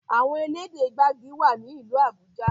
Àwọn elédè gbagi wá ní ilú Abuja.